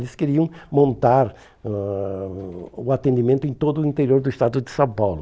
Eles queriam montar ãh o atendimento em todo o interior do Estado de São Paulo.